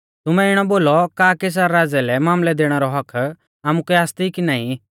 तुमै इणौ बोलौ का कैसर राज़ै लै मामलै दैणै रौ हक्क्क आमुकै आसती कि नाईं